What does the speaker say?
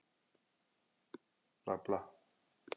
Það hefur gefið okkur mikið.